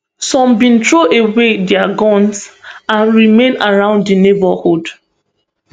some bin throw away dia guns and remain around di neighbourhood